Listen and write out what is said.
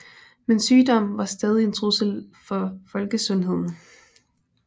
Men sygdommen var stadig en trussel for folkesundheden